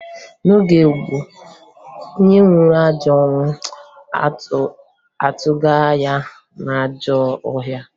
N'oge gboo, onye nwụọ ajọ ọnwụ, atụga ya n'ajọ ọhịa